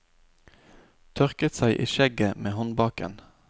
Tørket seg i skjegget med håndbaken.